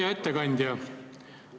Hea ettekandja!